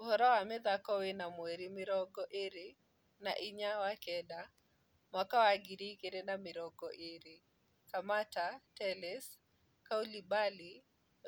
Ũhoro wa mĩthako wena mweri mĩrongo ĩĩrĩ na inya wa-kenda Mwaka wa ngiri igĩrĩ na mĩrongo ĩĩrĩ: Samatta , Telles, Koulibaly,